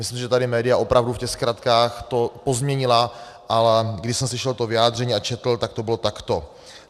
Myslím, že tady média opravdu v těch zkratkách to pozměnila, a když jsem slyšel to vyjádření a četl, tak to bylo takto.